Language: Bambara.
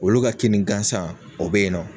Wulu ka kinni gansan o bɛ yen nɔ.